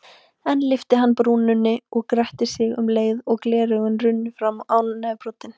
Enn lyfti hann brúnum og gretti sig um leið svo gleraugun runnu fram á nefbroddinn.